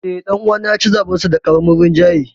Eh, dan uwana ya ci zaɓensa da karamin rinjaye.